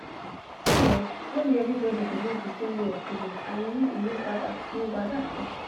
see[um]no be everybody believe the same way of healing and you know e no bad at no bad at all